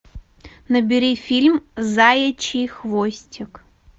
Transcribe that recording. набери фильм заячий хвостик